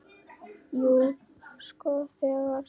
Jú, sko þegar.